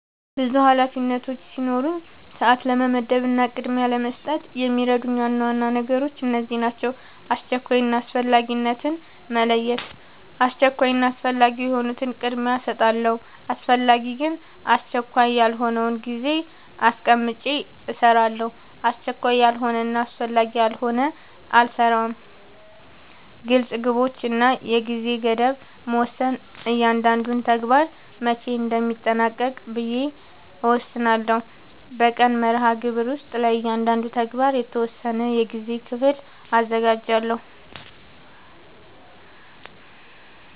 ብዙ ኃላፊነቶች ሲኖሩኝ ሰዓት ለመመደብ እና ቅድሚያ ለመስጠት የሚረዱኝ ዋና ዋና ነገሮች እነዚህ ናቸው :-# አስቸኳይ እና አስፈላጊነትን መለየት:- አስቸኳይ እና አስፈላጊ የሆኑትን ቅድሚያ እሰጣለሁ አስፈላጊ ግን አስቸካይ ያልሆነውን ጊዜ አስቀምጨ እሰራለሁ አስቸካይ ያልሆነና አስፈላጊ ያልሆነ አልሰራውም # ግልፅ ግቦች እና የጊዜ ገደብ መወሰን እያንዳንዱን ተግባር መቼ እንደሚጠናቀቅ ብዬ እወስናለሁ በቀን መርሃግብር ውስጥ ለእያንዳንዱ ተግባር የተወሰነ የጊዜ ክፍል አዘጋጃለሁ